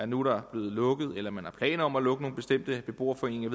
nu er blevet lukket eller man har planer om at lukke nogle bestemte beboerforeninger